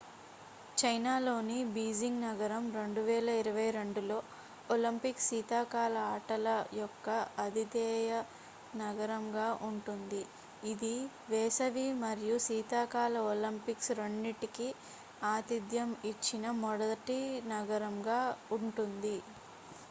చైనాలోని బీజింగ్ నగరం 2022 లో ఒలింపిక్ శీతాకాల ఆటల యొక్క అతిధేయ నగరంగా ఉంటుంది ఇది వేసవి మరియు శీతాకాల ఒలింపిక్స్ రెండింటికి ఆతిథ్యం ఇచ్చిన మొదటి నగరంగా ఉంటుంది